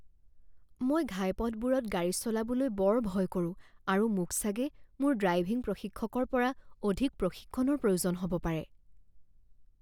মই ঘাইপথবোৰত গাড়ী চলাবলৈ বৰ ভয় কৰোঁ আৰু মোক চাগে মোৰ ড্ৰাইভিং প্ৰশিক্ষকৰ পৰা অধিক প্ৰশিক্ষণৰ প্ৰয়োজন হ'ব পাৰে।